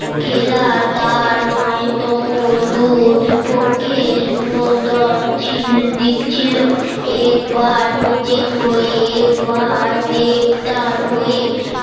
খেলার দান নয়তো মধুর পক্ষে শুনো দন ছিল দিচ্ছিল একবার নিজের হয়ে একবার দেবতার হয়ে